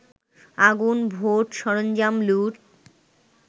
আগুন, ভোট-সরঞ্জাম লুট